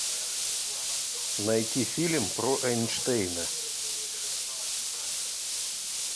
найти фильм про эйнштейна